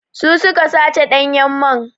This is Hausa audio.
Su su ka sace ɗanyen man.